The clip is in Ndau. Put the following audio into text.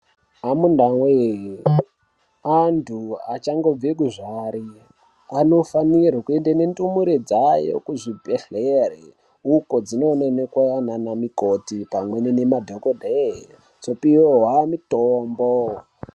Amunawee antu achangobve kuzvarwa anofanirwe kuenda nendumure dzavo kuzvibhedhlera ukodzinono onekwa ngana mukoti pamwe nemadhogodheya dzopihwa mitombo.